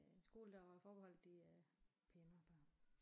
Øh en skole der var forbeholdt de øh pænere børn